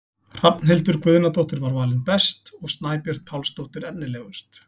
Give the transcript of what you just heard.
Hrafnhildur Guðnadóttir var valin best og Snæbjört Pálsdóttir efnilegust.